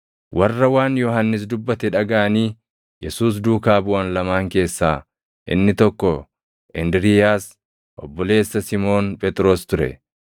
Warra waan Yohannis dubbate dhagaʼanii Yesuus duukaa buʼan lamaan keessaa inni tokko Indiriiyaas obboleessa Simoon Phexros ture.